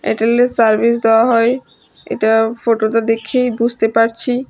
এয়ারটেলের service দেওয়া হয় এটা ফটোটা দেখ্যেই বুঝতে পারছি।